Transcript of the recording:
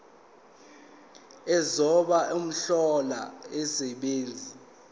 ozobe ehlola umsebenzi